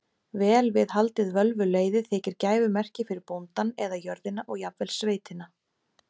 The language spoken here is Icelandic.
Vel við haldið völvuleiði þykir gæfumerki fyrir bóndann eða jörðina og jafnvel sveitina.